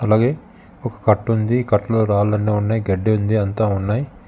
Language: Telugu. అలాగేె ఒక కట్ట ఉంది. ఈ కట్టలో రాళ్ళన్నీ ఉన్నాయ్ గడ్డుంది అంతా ఉన్నాయ్.